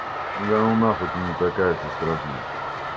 да ну нахуй да не такая ты страшная